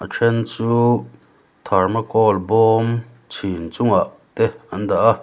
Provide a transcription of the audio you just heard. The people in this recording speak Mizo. then chu thermocol bawm chhin chungah te an dah a.